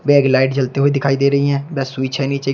एक लाइट जलते हुए दिखाई दे रही हैं व स्विच है नीचे।